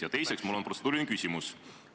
Ja teiseks on mul protseduuriline küsimus.